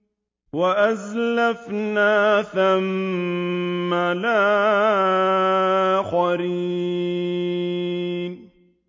وَأَزْلَفْنَا ثَمَّ الْآخَرِينَ